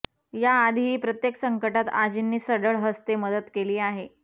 याआधीही प्रत्येक संकटात आजींनी सढळ हस्ते मदत केली आहे